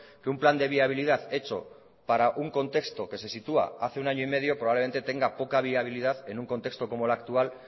que un plan de viabilidad hecho para un contexto que se sitúa hace un año y medio probablemente tenga poca viabilidad en un contexto como el actual